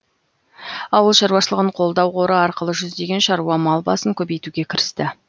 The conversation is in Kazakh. ауыл шаруашылығын қолдау қоры арқылы жүздеген шаруа мал басын көбейтуге кірісті